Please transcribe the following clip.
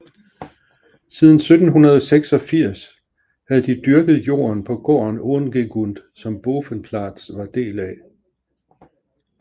Siden 1786 havde de dyrket jorden på gården Ongegund som Bovenplaats var del af